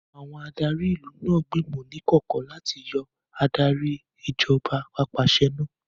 Àwọn ará ìlú náà gbìmọ̀ ní ìkọ̀kọ̀ láti yọ Adarí Ìṣèjọba Ap'àṣẹwàá náà